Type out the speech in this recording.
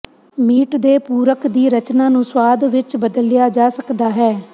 meat ਦੇ ਪੂਰਕ ਦੀ ਰਚਨਾ ਨੂੰ ਸੁਆਦ ਵਿੱਚ ਬਦਲਿਆ ਜਾ ਸਕਦਾ ਹੈ